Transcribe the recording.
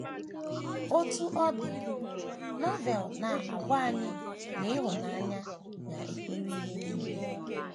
Otú ọ dị, Novel na - agwa anyị na ịhụnanya “ na - ekwere ihe nile. ”